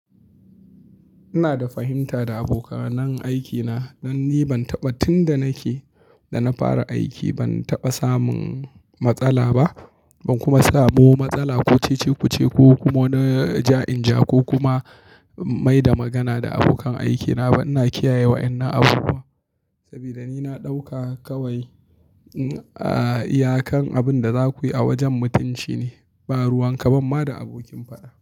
Ina da fahimta da abokanan aikina dan ni ban taba tunda nake da na fara aiki ban taba samun matsala ba, ban kuma samu matsala ko cece-kuce ko kuma na ja-inja ko kuma mai da magana da abokan aikina ba. Ina kiyaye wa'inna abubuwa saboda ni na dauka kawai iyakan abin da za ku yi a wajen mutunci ne, ba ruwan kabamma da abokin fada.